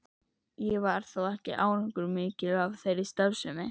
Ekki varð þó árangur mikill af þeirri starfsemi.